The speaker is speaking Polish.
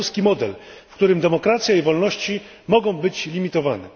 białoruski model, w którym demokracja i wolności mogą być limitowane.